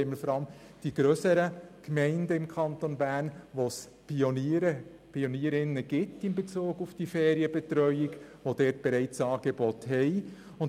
Auf der einen Seite haben wir im Kanton Bern vor allem die grösseren Gemeinden, wo es in Bezug auf die Ferienbetreuung Pionierinnen und Pioniere gibt und die bereits entsprechende Angebote haben.